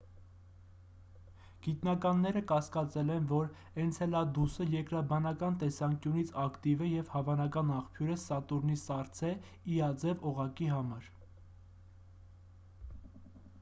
գիտնականները կասկածել են որ էնցելադուսը երկրաբանական տեսանկյունից ակտիվ է և հավանական աղբյուր է սատուրնի սառցե e-աձև օղակի համար: